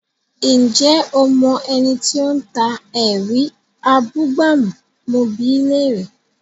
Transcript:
Ǹjẹ́ o mọ ẹni tí ó ń ta “ẹ̀rí abúgbàmù? mo bi í léèrè?